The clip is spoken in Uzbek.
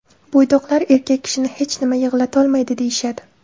Bo‘ydoqlar erkak kishini hech nima yig‘latolmaydi deyishadi.